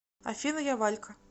афина я валька